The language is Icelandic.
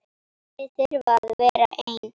Þau þurfi að vera ein.